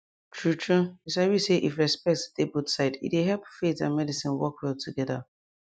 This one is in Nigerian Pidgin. true true you sabi say if respect dey both side e dey help faith and medicine work well together